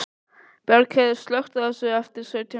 Bjargheiður, slökktu á þessu eftir sautján mínútur.